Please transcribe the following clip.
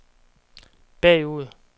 bagud